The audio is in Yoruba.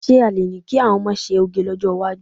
Ṣé a lè ní kí àwọn ọmọ ṣe òge lọ́jọ́ iwájú?